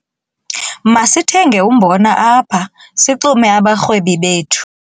Masithenge umbona apha sixume abarhwebi bethu.